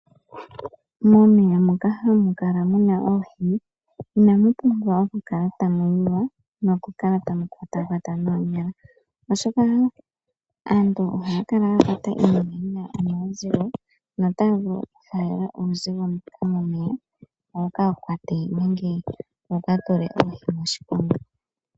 Momeya moka hamu kala muna oohi inamu pumbwa oku kala tamu yiwa noku kala tamu kwatwakwatwa noonyala, oshoka aantu ohaya kala yakwata iinima yina omawuzigo notaya vulu oku falela uusigo mbuka momeya, wuka kwate nenge wuka tule oohi moshiponga.